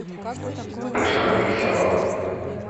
пижама для собак